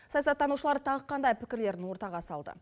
саясаттанушылар тағы қандай пікірлерін ортаға салды